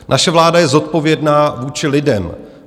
Naše vláda je zodpovědná vůči lidem.